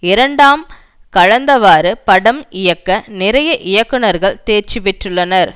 இரண்டாம் கலந்தவாறு படம் இயக்க நிறைய இயக்குனர்கள் தேர்ச்சி பெற்றுள்ளனர்